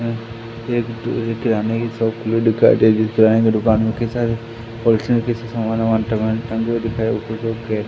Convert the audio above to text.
हमें एक किरणा की शॉप खुली दिखाई दे रही है। कीरानों की दुकान में काफी सारे स्टेशनरी का सामान वामान टंगा हुआ दिखाई दे रहा हैं। ऊपर सब--